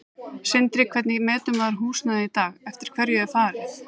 Sindri: Hvernig metur maður húsnæði í dag, eftir hverju er farið?